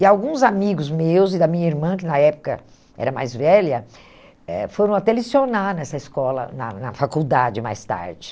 E alguns amigos meus e da minha irmã, que na época era mais velha, eh foram até lecionar nessa escola, na na faculdade, mais tarde.